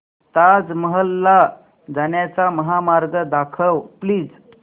ताज महल ला जाण्याचा महामार्ग दाखव प्लीज